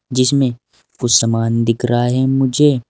जिसमें कुछ समान दिख रहा है मुझे।